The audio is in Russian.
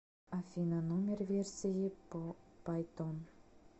афина номер версии по пайтон